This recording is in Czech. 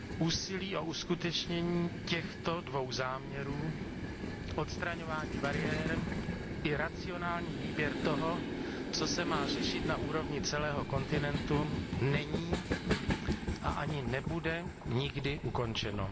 Úsilí o uskutečnění těchto dvou záměrů odstraňování bariér i racionální výběr toho, co se má řešit na úrovni celého kontinentu není a ani nebude nikdy ukončeno.